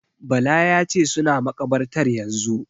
Bala ya ce "suna makabartar yanzun".